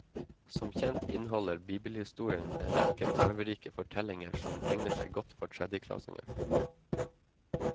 Som kjent inneholder bibelhistorien en rekke farverike fortellinger som egner seg godt for tredjeklassinger.